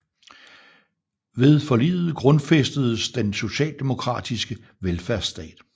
Ved forliget grundfæstedes den socialdemokratiske velfærdsstat